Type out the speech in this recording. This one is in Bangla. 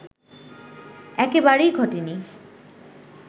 একেবারেই ঘটেনি